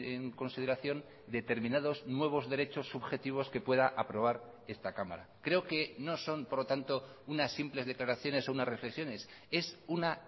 en consideración determinados nuevos derechos subjetivos que pueda aprobar esta cámara creo que no son por lo tanto unas simples declaraciones o unas reflexiones es una